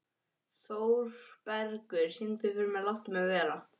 Þórbergur, syngdu fyrir mig „Láttu mig vera“.